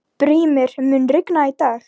Brímir, mun rigna í dag?